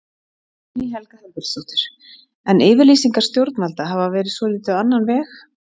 Guðný Helga Herbertsdóttir: En yfirlýsingar stjórnvalda hafa verið svolítið á annan veg?